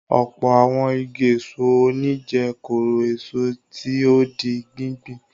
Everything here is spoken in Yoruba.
Ọ̀pọ̀ àwọn igi èso òní jẹ́ kóró-èso tí ó di gbíngbìn.